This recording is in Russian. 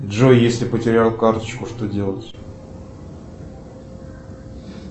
джой если потерял карточку что делать